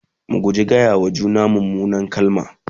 mu guji gaya wa juna munan kalamai